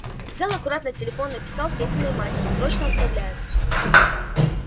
взял аккуратно телефон написал петиной матери срочно отправляют